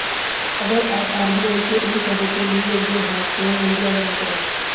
अगर आप आरबीआई के इन पदों के लिये योग्य हैं तो जल्दी आवेदन करें